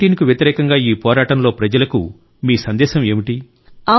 COVID19 కు వ్యతిరేకంగా ఈ పోరాటంలో ప్రజలకు మీ సందేశం ఏమిటి